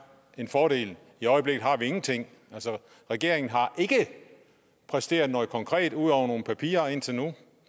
en fordel i øjeblikket har vi ingenting regeringen har ikke præsteret noget konkret ud over nogle papirer indtil nu